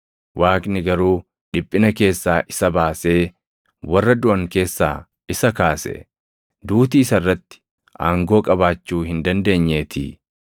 Waaqni garuu dhiphina keessaa isa baasee, warra duʼan keessaa isa kaase; duuti isa irratti aangoo qabaachuu hin dandeenyeetii.